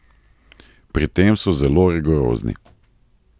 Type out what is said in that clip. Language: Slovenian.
Pri tem so zelo rigorozni.